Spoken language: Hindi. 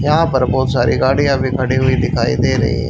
यहां पर बहोत सारी गाड़ियां भी खड़ी हुई दिखाई दे रही है।